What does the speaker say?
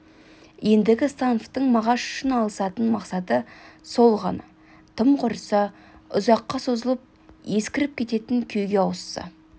ендігі становтың мағаш үшін алысатын мақсаты сол ғана тым құрса ұзаққа созылып ескіріп кететін күйге ауысса